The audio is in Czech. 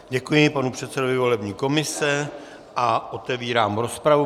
Děkuji panu předsedovi volební komise a otevírám rozpravu.